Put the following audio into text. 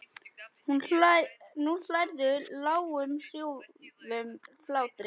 Nú hlærðu, lágum hrjúfum hlátri.